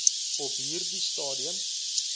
op hierdie stadium